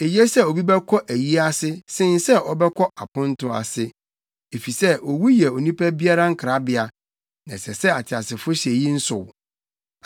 Eye sɛ obi bɛkɔ ayi ase sen sɛ ɔbɛkɔ aponto ase, efisɛ owu yɛ onipa biara nkrabea na ɛsɛ sɛ ateasefo hyɛ eyi nsow.